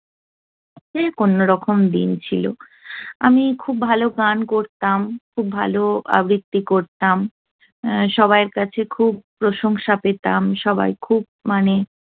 অন্যরকম দিন ছিল। আমি খুব ভালো গান করতাম। খুব ভালো আবৃত্তি করতাম। সবাই এর কাছে খুব প্রশংসা পেতাম। সবাই খুব মানে